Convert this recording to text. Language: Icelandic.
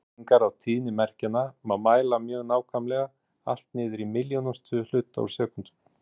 Breytingar á tíðni merkjanna má mæla mjög nákvæmlega, allt niður í milljónustu hluta úr sekúndu.